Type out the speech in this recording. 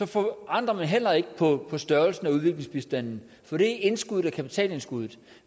forandrer man heller ikke på størrelsen af udviklingsbistanden for det indskud er kapitalindskuddet